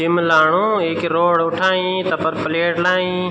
जिम लाणू येकि रौड उठाई तफर प्लेट लाईं।